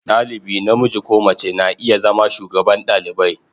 Dalibi namiji ko mace na iya zama shugaban dalibai.